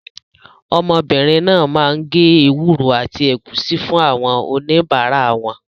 Ọmọbìnrin náà máa ń gé ewúro àti ẹ̀gúsí fún àwọn oníbàárà wọn.